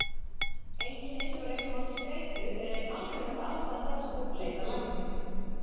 Einkenni sem rekja má til streitu eru ein algengasta ástæða þess að fólk leitar læknis.